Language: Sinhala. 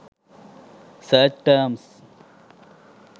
search terms